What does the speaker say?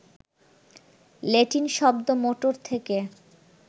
Latin শব্দ motor থেকে